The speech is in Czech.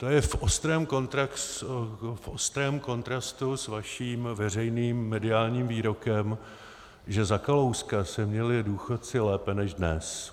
To je v ostrém kontrastu s vaším veřejným mediálním výrokem, že za Kalouska se měli důchodci lépe než dnes.